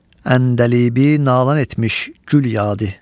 Əndəlibi nalan etmiş gül yad.